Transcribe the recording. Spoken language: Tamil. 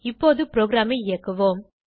இப்போது ப்ரோகிராமை இயக்குவோம்